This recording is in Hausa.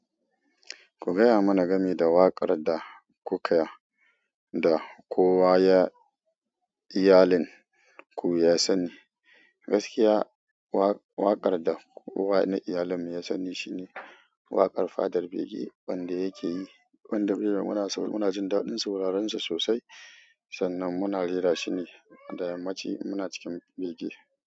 Ko gayamana gami da waƙar da kowa yayi yelin ko za sani. Gaskiya waƙar da kowa na iyalin mu ya sani shine waƙar fadar bege, wanda yake yi, wanda munajin daɗin sauraren sa sosai, sannan muna rera shine da yammaci in muna cikin bege.